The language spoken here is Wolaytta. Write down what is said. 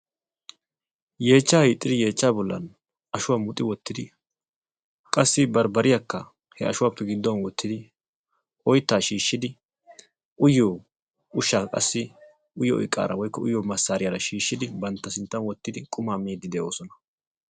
Yeechchaa hiixxidi yeechchaa bollan ashshuwaa muxi wottidi qassi barbbariyaakka he ashshuwappe gidduwaan wottidi oyttaa shiishshidi uyiyoo ushshaa qassi uyiyoo iqaara woykko uyiyoo massariyaara wottidi qumaa miiddi de'oosona.